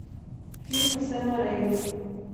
фильмы сэма рейми